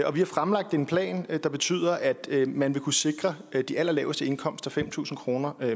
og vi har fremlagt en plan der betyder at man vil kunne sikre de allerlaveste indkomster fem tusind kroner